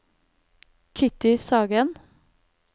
Kitty Sagen